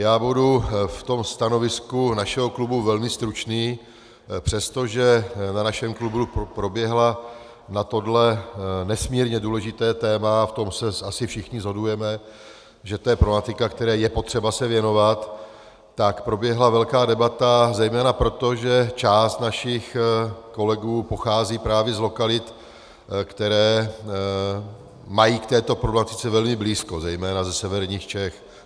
Já budu v tom stanovisku našeho klubu velmi stručný, přestože na našem klubu proběhla na tohle nesmírně důležité téma, v tom se asi všichni shodujeme, že to je problematika, které je potřeba se věnovat, tak proběhla velká debata, zejména proto, že část našich kolegů pochází právě z lokalit, které mají k této problematice velmi blízko, zejména ze severních Čech.